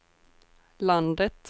landet